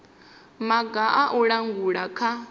maga a u langula kha